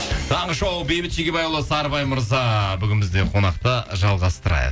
таңғы шоу бейбіт шегебайұлы сарыбай мырза бүгін бізде қонақта жалғастырайық